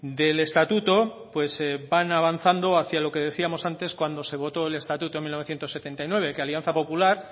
del estatuto pues van avanzando hacia lo que decíamos antes cuando se votó el estatuto en mil novecientos setenta y nueve que alianza popular